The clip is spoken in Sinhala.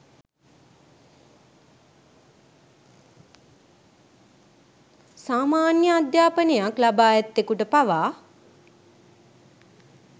සාමාන්‍ය අධ්‍යාපනයක් ලබා ඇත්තෙකුට පවා